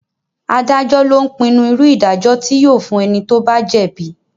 Adájọ́ lo ń pinnu irú ìdájọ́ tí yóò fún ẹni tí ó bá jẹ́ bíi